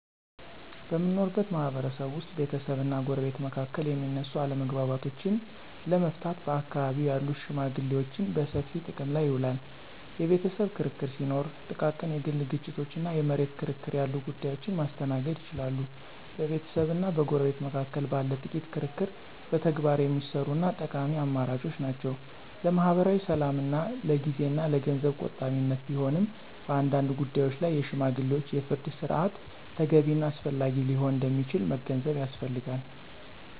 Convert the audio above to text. በምንኖርበት ማህበረሰብ ውስጥ ቤተሰብና ጎረቤት መካከል የሚነሱ አለመግባባቶችን ለመፍታት በአካባቢው ያሉ ሽመግሌዎችን በሰፊው ጥቅም ላይ ይውላሉ። የቤተሰብ ክርክር ሲኖር፣ ጥቃቅን የግል ግጭቶች እና የመሬት ክርክር ያሉ ጉዳዮችን ማስተናገድ ይችላሉ። በቤተሰብና በጎረቤት መካከል ባለ ጥቂት ክርክር በተግባር የሚሰሩ እና ጠቃሚ አማራጮች ናቸው። ለማኅበራዊ ሰላምና ለጊዜ እና ለገንዘብ ቆጣቢነት ቢሆንም፣ በአንዳንድ ጉዳዮች ላይ የሽማግሌዎች የፍርድ ሥርዓት ተገቢ እና አስፈላጊ ሊሆን እንደሚችል መገንዘብ ያስፈልጋል።